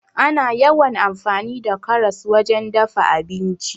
Ana yawan amfani da karas wajen dafa abinci.